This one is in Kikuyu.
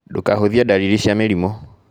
Ndũkahũthie dariri cĩa mĩrimũ